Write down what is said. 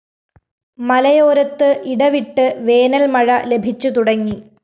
മലയോരത്ത് ഇടവിട്ട് വേനല്‍മഴ ലഭിച്ചുതുടങ്ങി